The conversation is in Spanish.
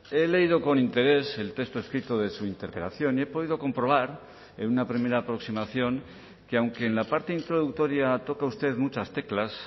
he leído con interés el texto escrito de su interpelación y he podido comprobar en una primera aproximación que aunque en la parte introductoria toca usted muchas teclas